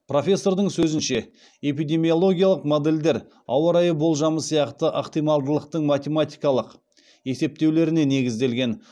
профессордың сөзінше эпидемиологиялық модельдер ауа райы болжамы сияқты ықтималдылықтың математикалық есептеулеріне негізделген